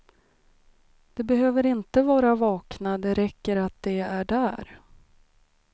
De behöver inte vara vakna, det räcker att de är där.